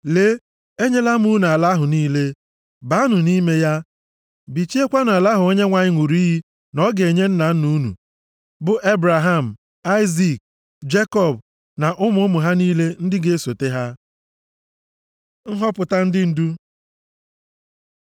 Lee, enyela m unu ala ahụ niile! Baanụ nʼime ya, bichiekwanụ ala ahụ Onyenwe anyị ṅụrụ iyi na ọ ga-enye nna nna unu bụ Ebraham, Aịzik, Jekọb na ụmụ ụmụ ha niile ndị ga-esote ha.” Nhọpụta ndị ndu